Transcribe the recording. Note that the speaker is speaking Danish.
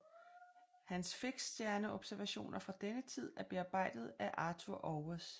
Hans fiksstjerneobservationer fra denne tid er bearbejdede af Arthur Auwers